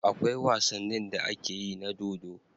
Akwai wasanin da akeyi na dodo